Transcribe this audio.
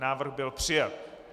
Návrh byl přijat.